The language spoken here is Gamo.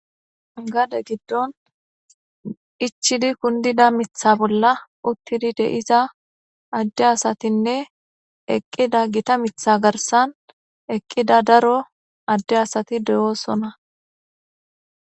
gade giddon ichidi kundida mitha bolla uttidi deiza adde asatinne eqqida gita mitha garsan eqqida daro adde asati deyoosona